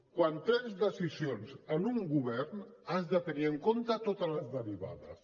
quan prens decisions en un govern has de tenir en compte totes les derivades